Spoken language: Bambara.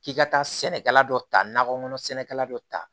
K'i ka taa sɛnɛkɛla dɔ ta nakɔ kɔnɔ sɛnɛkɛla dɔ ta